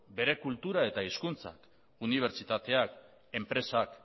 bere kultura eta hizkuntzak unibertsitateak enpresak